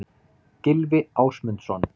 Gylfi Ásmundsson.